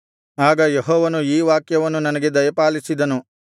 ಆಗ ಯೆಹೋವನು ಈ ವಾಕ್ಯವನ್ನು ನನಗೆ ದಯಪಾಲಿಸಿದನು